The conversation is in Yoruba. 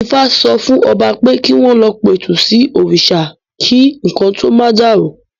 Ifá sọ fún Ọba pé kí wọ́n lọ pẹ̀tù sí òrìṣà kí nǹkan tó ma dàrú